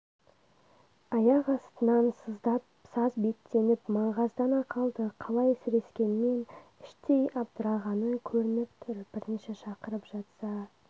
аяқ астынан сыздап саз беттеніп маңғаздана қалды қалай сірескенмен іштей абдырағаны көрініп тұр бірінші шақырып жатса